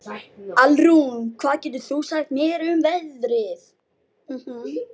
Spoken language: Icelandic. Alrún, hvað geturðu sagt mér um veðrið?